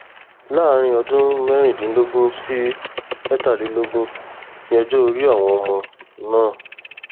láàrin ọdún mẹrìndínlógún sí mẹtàlélógún ní ọjọ orí àwọn ọmọ náà